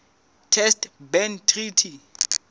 test ban treaty